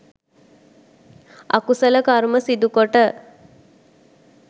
අකුසල කර්ම සිදුකොට